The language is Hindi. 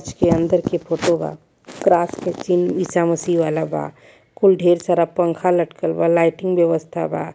जे के अंदर के फोटो बा क्रास के चिन्ह इसा मसीह वाला बा कुल ढेर सारा पंखा लटकल बा लाइटिंग व्यवस्था बा।